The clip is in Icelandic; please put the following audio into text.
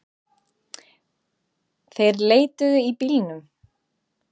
Þeir leituðu í bílunum